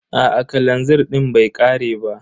Aa kalanzir din bai ƙare ba.